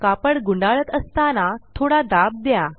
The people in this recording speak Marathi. कापड गुंडाळत असताना थोडा दाब द्या